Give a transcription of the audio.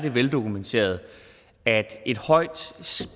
er veldokumenteret at et højt